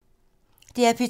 DR P2